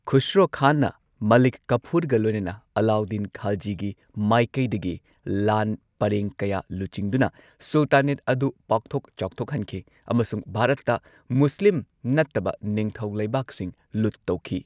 ꯈꯨꯁꯔꯣ ꯈꯥꯟꯅ ꯃꯂꯤꯛ ꯀꯥꯐꯨꯔꯒ ꯂꯣꯏꯅꯅ ꯑꯂꯥꯎꯗꯗꯤꯟ ꯈꯥꯜꯖꯤꯒꯤ ꯃꯥꯏꯀꯩꯗꯒꯤ ꯂꯥꯟ ꯄꯔꯦꯡ ꯀꯌꯥ ꯂꯨꯆꯤꯡꯗꯨꯅ ꯁꯨꯜꯇꯥꯅꯦꯠ ꯑꯗꯨ ꯄꯥꯛꯊꯣꯛ ꯆꯥꯎꯊꯣꯛꯍꯟꯈꯤ ꯑꯃꯁꯨꯡ ꯚꯥꯔꯠꯇ ꯃꯨꯁꯂꯤꯝ ꯅꯠꯇꯕ ꯅꯤꯡꯊꯧ ꯂꯩꯕꯥꯛꯁꯤꯡ ꯂꯨꯠ ꯇꯧꯈꯤ꯫